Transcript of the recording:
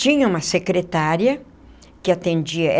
Tinha uma secretária que atendia.